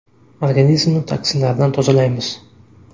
Organizmni toksinlardan tozalaymiz.